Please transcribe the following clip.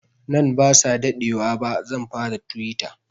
Nan ba sa daɗewa ba zan fara tuwita